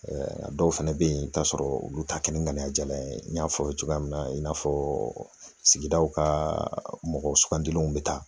a dɔw fɛnɛ bɛ yen i bɛ t'a sɔrɔ olu ta kɛ ni ŋaniyajalan ye n y'a fɔ cogoya min na i n'a fɔ sigidaw ka mɔgɔ sugandilenw bɛ taa